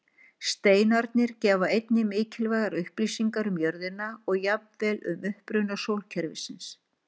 Steinarnir gefa einnig mikilvægar upplýsingar um jörðina og jafnvel um uppruna sólkerfisins.